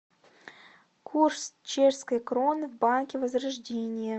курс чешской кроны в банке возрождение